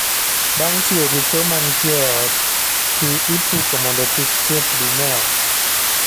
Bang' tiyo gi choo ma nitie e ot, pii ipuko mondo kik chieth dum e ot